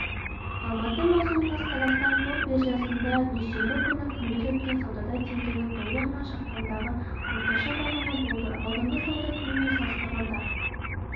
алматы маусым қаз қазақстан қор биржасында дүйсенбі күні күндіз өткен саудада теңгенің долларына шаққандағы орташа бағамы болды алдыңғы сауда күнімен салыстырғанда